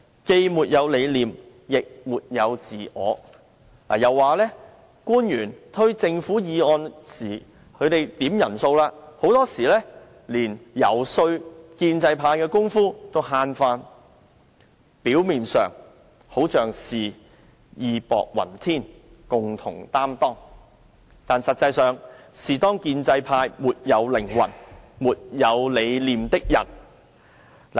既沒有理念亦沒有自我"，又指官員提出政府議案時只顧"數人數"，往往連遊說建制派的工夫也省下來，"在表面上，好像是義薄雲天共同擔當，但實際上，卻是沒有靈魂，沒有理念的人"。